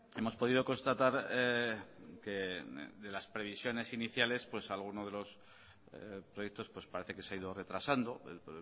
hemos podido constatar que de las previsiones iníciales pues alguno de los proyectos pues parece que se ha ido retrasando el